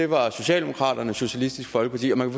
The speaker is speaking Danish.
var socialdemokraterne og socialistisk folkeparti og man